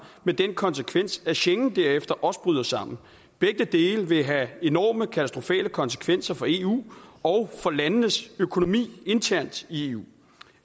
med den konsekvens at schengen derefter også bryder sammen begge dele vil have enorme og katastrofale konsekvenser for eu og landenes økonomi internt i eu